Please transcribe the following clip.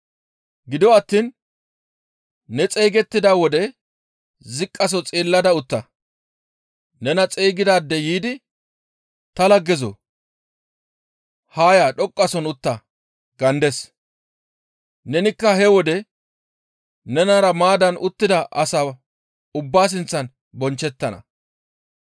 Gido attiin ne xeygettida wode ziqqaso xeellada utta; nena xeygidaadey yiidi, ‹Ta laggezoo! Haa ya dhoqqasohon utta› gaandes; nenikka he wode nenara maaddan uttida asaa ubbaa sinththan bonchchettana.